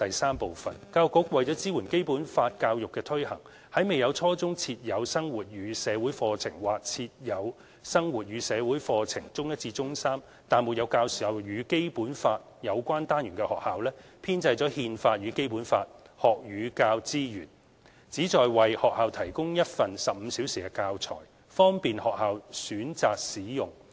三教育局為支援《基本法》教育的推行，為未有在初中設有生活與社會課程或設有生活與社會課程，但沒有教授與《基本法》有關單元的學校，編製"憲法與《基本法》"學與教資源，旨在為學校提供一份15小時的教材，方便學校選擇使用。